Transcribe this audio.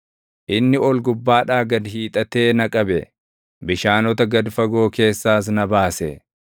Inni ol gubbaadhaa gad hiixatee na qabe; bishaanota gad fagoo keessaas na baase.